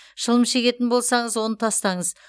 шылым шегетін болсаңыз оны тастаңыз